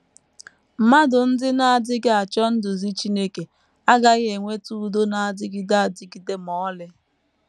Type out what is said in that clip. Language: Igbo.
Mmadụ ndị na - adịghị achọ nduzi Chineke agaghị enweta udo na - adịgide adịgide ma ọlị.